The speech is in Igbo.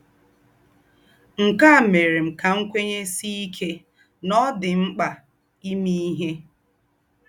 Nkē ā mērē ká m kwēnyēsiē íkē nà ọ̀ dī m m̀kpā ìmē íhē